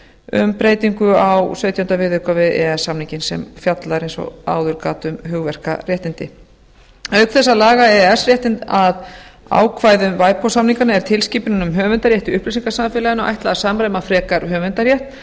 um breytingu á sautjánda viðauka við e e s samninginn sem fjallar eins og áður gat um um hugverkaréttindi auk þess að laga e e s réttinn að ákvæðum ipod samningana eða tilskipuninni um höfundarrétt í upplýsingasamfélaginu ætlað að sama frekar höfundarrétt á